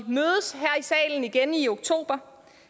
salen igen i oktober